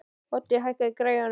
Úddi, hækkaðu í græjunum.